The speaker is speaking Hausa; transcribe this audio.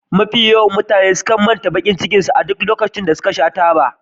Mutane da yawa sukan manta da bakin cikin su a duk lokacin da suka sha taba